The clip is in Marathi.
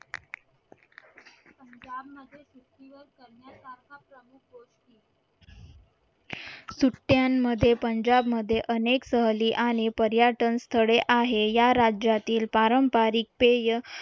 सुट्ट्यांमध्ये पंजाब मध्ये अनेक सहली आणि पर्यटन स्थळे आहे या राज्यातील पारंपारिक पेय